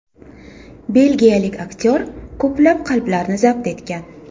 Belgiyalik aktyor ko‘plab qalblarni zabt etgan.